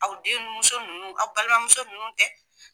Aw denmuso ninnu aw balimamuso ninnu tɛ.